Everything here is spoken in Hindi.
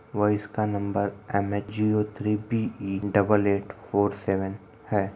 और इसका number M H zero three B E double eight four seven है।